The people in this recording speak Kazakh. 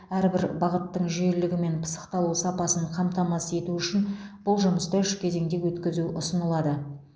әрбір бағыттың жүйелілігі мен пысықталу сапасын қамтамасыз ету үшін бұл жұмысты үш кезеңде өткізу ұсынылады